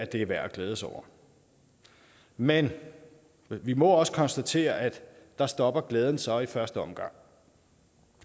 det er værd at glæde sig over men vi må også konstatere at der stopper glæden så i første omgang